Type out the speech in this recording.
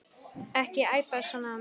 Ekki æpa svona á mig.